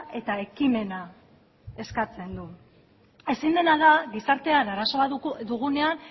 eta ekimena eskatzen du ezin dena da gizartean arazo bat dugunean